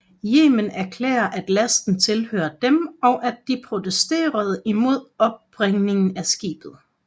Yemen erklærede at lasten tilhørte dem og at de protesterede mod opbringningen af skibet